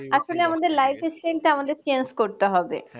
আসলে আমাদের life style টা আমাদেরই change করতে হবে